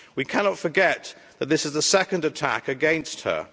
We cannot forget that this is the second attack against her.